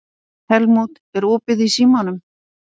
Helmút, er opið í Símanum?